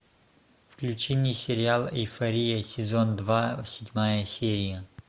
включи мне сериал эйфория сезон два седьмая серия